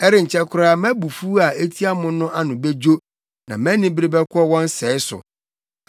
Ɛrenkyɛ koraa mʼabufuw a etia mo no ano bedwo na mʼanibere bɛkɔ wɔn sɛe so.”